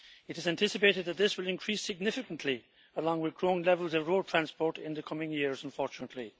It is anticipated that this will increase significantly, along with growing levels of road transport in the coming years, unfortunately.